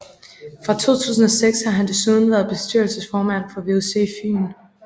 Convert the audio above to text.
Fra 2006 har han desuden været bestyrelsesformand for VUC Fyn